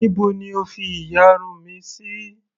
Níbo ni O fi ìyarun mi sí.